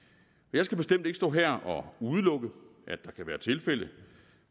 jeg skal bestemt ikke stå her og udelukke at der kan være tilfælde